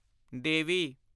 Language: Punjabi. ਦੇਵੀ